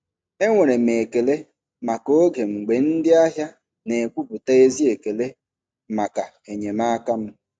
Enwere m ekele maka oge mgbe ndị ahịa na-ekwupụta ezi ekele maka enyemaka m.